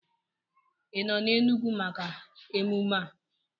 Ị nọ n'Enugwu maka emume a?